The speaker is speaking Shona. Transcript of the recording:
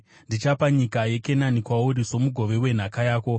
“Ndichapa nyika yeKenani kwauri somugove wenhaka yako.”